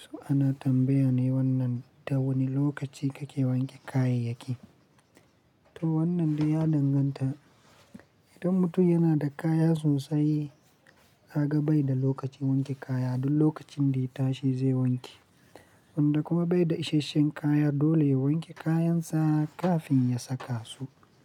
So ana tambaya ne wannan ta wane lokaci kake wanke kayayyaki. To wannan dai ya danganta, idan mutum yana da kaya sosai kaga bai da lokacin wanke kaya, duk lokacin da ya tashi zai wanke. Wanda kuma bai da isasshen kaya dole ya wanke kayansa kafin ya saka su.